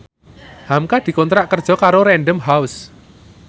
hamka dikontrak kerja karo Random House